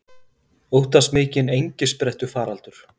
Óttast mikinn engisprettufaraldur